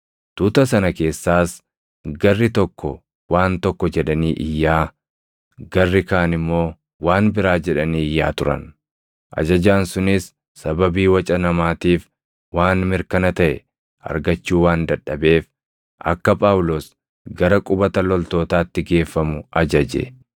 Tuuta sana keessaas garri tokko waan tokko jedhanii iyyaa, garri kaan immoo waan biraa jedhanii iyyaa turan; ajajaan sunis sababii waca namaatiif waan mirkana taʼe argachuu waan dadhabeef akka Phaawulos gara qubata loltootaatti geeffamu ajaje.